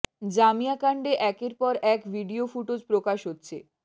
জামিয়া কাণ্ডে একের পর এক ভিডিও ফুটোজ প্রকাশ হচ্ছে